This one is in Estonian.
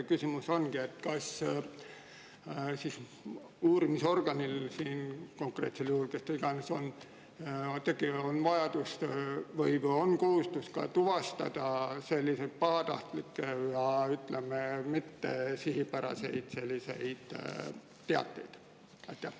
Küsimus ongi: kas uurimisorganil või kes ta iganes on, on konkreetsel juhul kohustus tuvastada ka pahatahtlikke ja mittesihipäraseid teateid?